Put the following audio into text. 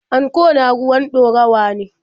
Anko na ruwan ɗorawa ne.